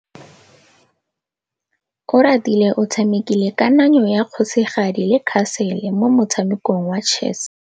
Oratile o tshamekile kananyô ya kgosigadi le khasêlê mo motshamekong wa chess.